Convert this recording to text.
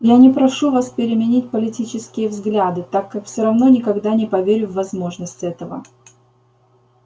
я не прошу вас переменить политические взгляды так как все равно никогда не поверю в возможность этого